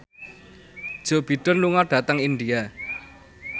Joe Biden lunga dhateng India